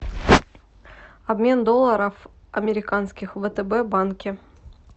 обмен долларов американских в втб банке